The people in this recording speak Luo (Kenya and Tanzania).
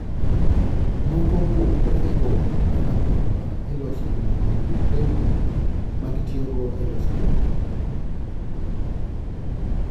Moko kuom puothego, kaka pamba, iloso mondo oyud lewni ma gitiyogo e loso lewni.